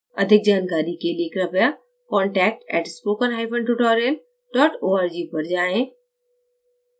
अधिक जानकारी के लिए कृपया contact @spokentutorial org पर जाएँ